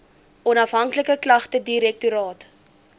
onafhanklike klagtedirektoraat